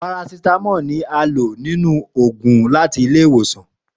Parasítámọ̀ ni a lò nínú àwọn òògùn láti ilé-ìwòsàn